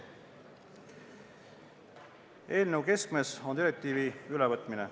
Eelnõu keskmes on direktiivide normide ülevõtmine.